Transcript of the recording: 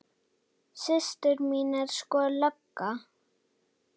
Systir mín er sko lögga